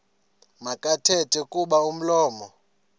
makathethe kuba umlomo